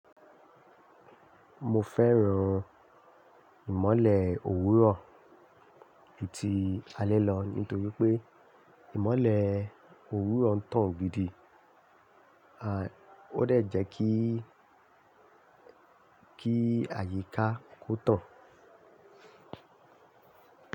Mo fẹ́ràn ìmọ́lẹ̀ òwúrọ̀ ju ti alẹ́ lọ nítorí pé ìmọ́lẹ̀ òwúrọ̀ ń tàn gidì, and ó dẹ̀ jẹ́ kí, kí àyíká kó tàn.